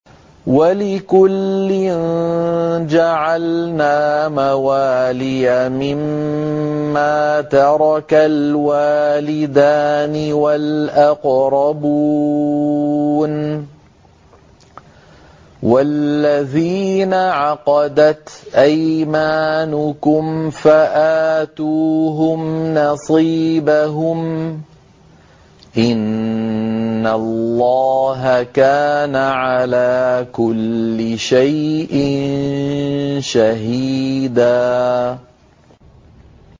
وَلِكُلٍّ جَعَلْنَا مَوَالِيَ مِمَّا تَرَكَ الْوَالِدَانِ وَالْأَقْرَبُونَ ۚ وَالَّذِينَ عَقَدَتْ أَيْمَانُكُمْ فَآتُوهُمْ نَصِيبَهُمْ ۚ إِنَّ اللَّهَ كَانَ عَلَىٰ كُلِّ شَيْءٍ شَهِيدًا